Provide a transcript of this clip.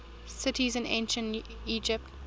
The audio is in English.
cities in ancient egypt